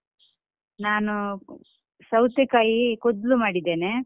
ನಾನು ಅಹ್ ಸೌತೆಕಾಯಿ ಕೋದ್ಲು ಮಾಡಿದ್ದೇನೆ.